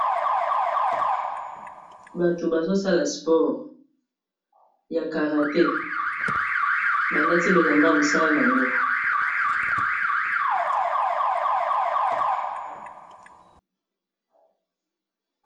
bato bazosala sports ya karate balati bilamba ya mosala na yango.